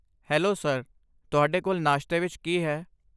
Hello sir, ਤੁਹਾਡੇ ਕੋਲ ਨਾਸ਼ਤੇ ਵਿੱਚ ਕੀ ਹੈ?